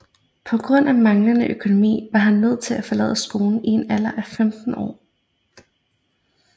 På grund af manglende økonomi var han nødt til at forlade skolen i en alder af 15 år